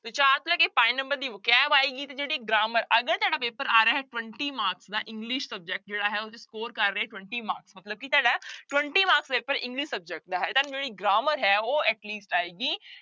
ਚਾਰ ਤੋਂ ਲੈ ਕੇ ਪੰਜ number ਦੀ vocabulary ਆਏਗੀ ਤੇ ਜਿਹੜੀ grammar ਅਗਰ ਤੁਹਾਡਾ ਪੇਪਰ ਆ ਰਿਹਾ ਹੈ twenty marks ਦਾ english subject ਜਿਹੜਾ ਹੈ ਕਰ ਰਹੇ twenty marks ਮਤਲਬ ਕਿ ਤੁਹਾਡਾ twenty marks ਦਾ ਪੇਪਰ english subject ਦਾ ਹੈ ਤੁਹਾਨੂੰ ਜਿਹੜੀ grammar ਹੈ ਉਹ at least ਆਏਗੀ